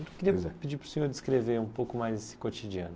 Eu queria pedir para o senhor descrever um pouco mais esse cotidiano.